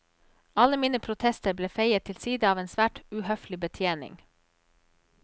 Alle mine protester ble feiet til side av en svært uhøflig betjening.